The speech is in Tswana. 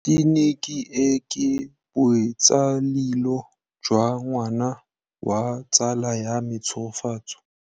Tleliniki e, ke botsalêlô jwa ngwana wa tsala ya me Tshegofatso.